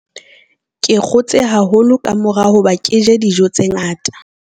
Ke kgotse haholo ka mora hoba ke je dijo tse ngata.